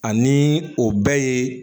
Ani o bɛɛ ye